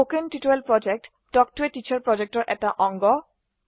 কথন শিক্ষণ প্ৰকল্প তাল্ক ত a টিচাৰ প্ৰকল্পৰ এটা অংগ